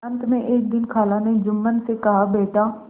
अंत में एक दिन खाला ने जुम्मन से कहाबेटा